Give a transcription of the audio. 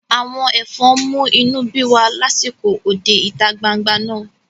Àwọn ẹ̀fọn mú inú bí wa lásìkò òde ìta gbangba náà